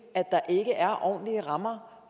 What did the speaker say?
at der ikke er ordentlige rammer